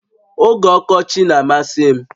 Oge ọkọchị na-amasị m